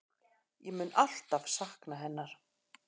Ég mun alltaf sakna hennar.